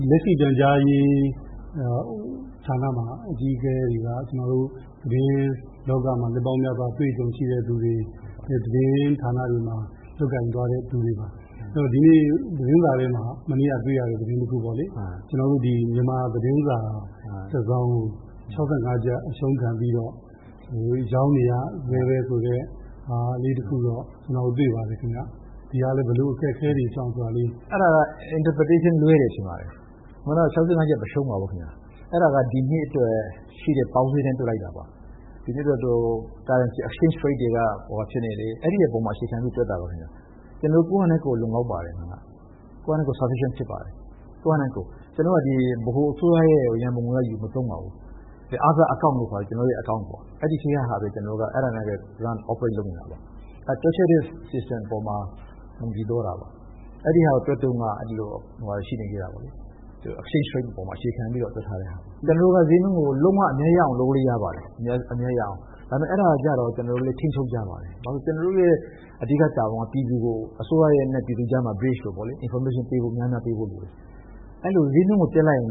လက်ရှိပြန်ကြားရေးဌာနမှာ အကြီးအကဲတွေက သတင်းလောကမှာ နှစ်ပေါင်းများစွာ အတွေ့အကြုံရှိတဲ့လူတွေ၊ သတင်းဌာနတွေမှာ လုပ်ကိုင်သွားတဲ့လူတွေပါ။ ဒီနေ့သတင်းစာထဲမှာ- မနေ့က တွေ့ရတဲ့ သတင်းတခုပေါ့လေ။ ကျနော်တို့ မြန်မာသတင်းစာတစောင်ကို ၆၅ ကျပ် အရှုံးခံပြီးတော့ ရောင်းနေရဆဲပဲ ဆိုတဲ့ ဟာလေး တွေ့ပါတယ်ခင်ဗျ။ အဲဒါ ဘယ်လို အခက်အခဲတွေကြောင့်ဆိုတာ… အဲဒါလေး.. ပြန်ကြားရေး ဒုဝန်ကြီး။ ။ အဲဒါက interpretation လွဲတယ်ထင်ပါတယ်။ ကျနော်တို့က ၆၅ ကျပ် မရှုံးပါဘူး။ အဲဒါက ဒီနှစ်အတွက်ရှိတဲ့ပေါက်ဈေးနဲ့တွက်လိုက်တာပါ။ ဒီနှစ်အတွက် currency exchange rate တွေက အဝှာဖြစ်နေတယ်။ အဲဒါအပေါ် အခြေခံပြီးတွက်လိုက်တာပါ။ ကျနော်တို့ကိုယ့်ဟာနဲ့ကိုယ် လုံလောက်ပါတယ်။ ကိုယ့်ဟာနဲ့ကိုယ် ဆောင်ရွက်ခြင်းဖြစ်ပါတယ်။ ကျနော်တို့ ဗဟိုအစိုးရရဲ့ရန်ပုံငွေကနေ ယူမသုံးပါဘူး။ other account လို့ခေါ်တဲ့ ကျနော်တို့ရဲ့ account ပေါ့- အဲဒီထဲကဟာနဲ့ပဲ run- operate လုပ်နေတာပါ။ တွက်ချက်တဲ့ system အပေါ်မှာ မူတည်သွားတာပါ။ အဲဒီဟာကိုတွက်တုန်းက …exchange rate အပေါ်မှာ အခြေခံပြီးတော့ တွက်ထားတဲ့ဟာပါ။ ကျနော်တို့က ဈေးနှုန်းကို လုံးဝ အမြတ်ရအောင် လုပ်လို့ရပါတယ်။ ဒါပေမယ့် အဲဒါကိုကျတော့ ကျနော်တို့လည်း ထိန်းချုပ်ထားပါတယ်။ ကျနော်တို့ရဲ့အဓိကတာဝန်က ပြည်သူကို..အစိုးရနဲ့ပြည်သူကြားမှာ bridge လိုပေါ့လေ၊ information ပေးဖို့ များများပေးဖို့လိုတယ်။ ဈေးနှုန်းကိုတက်လိုက်ရင်